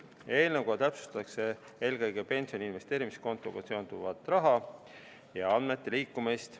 Eelnõuga täpsustataksegi eelkõige pensioni investeerimiskontoga seonduvat raha ja andmete liikumist.